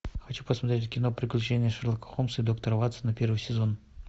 хочу посмотреть кино приключения шерлока холмса и доктора ватсона первый сезон